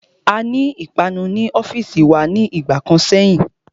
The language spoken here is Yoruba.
Aní ìpanu ní ọ́fìsì wa ní ìgbà kan sẹ́yìn.